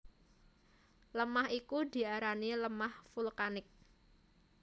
Lemah iku diarani lemah vulkanik